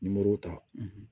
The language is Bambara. Nimoro ta